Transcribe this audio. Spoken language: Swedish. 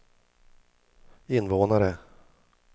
invånare